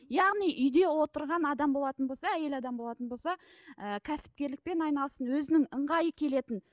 яғни үйде отырған адам болатын болса әйел адам болатын болса ііі кәсіпкерлікпен айналыссын өзінің ыңғайы келетін